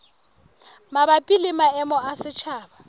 mabapi le maemo a setjhaba